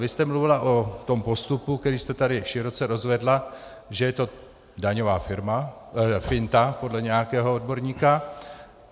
Vy jste mluvila o tom postupu, který jste tady široce rozvedla, že je to daňová finta podle nějakého odborníka.